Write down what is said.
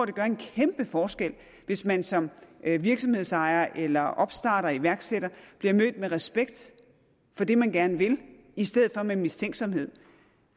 det gør en kæmpe forskel hvis man som virksomhedsejer eller opstarter iværksætter bliver mødt med respekt for det man gerne vil i stedet for med mistænksomhed